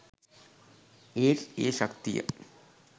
ඒත් ඒ ශක්තිය